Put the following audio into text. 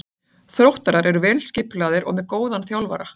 Þróttarar eru vel skipulagðir og með góðan þjálfara.